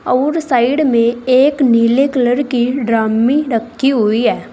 और साइड में एक नीले कलर की ड्रमी रखी हुई है।